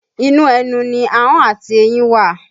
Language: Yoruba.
Inú ẹnu ni ahọ́n àti eyín wà